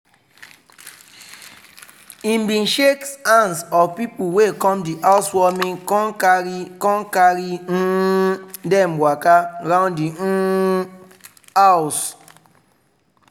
he bin shake hands of people wey come di housewarming con carri con carri um dem waka round di um house.